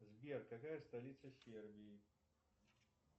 сбер какая столица сербии